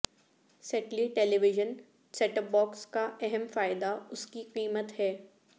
ستلیی television set top box کا اہم فائدہ اس کی قیمت ہے